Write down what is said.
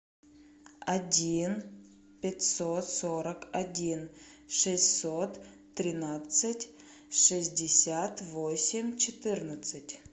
один пятьсот сорок один шестьсот тринадцать шестьдесят восемь четырнадцать